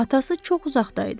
Atası çox uzaqda idi.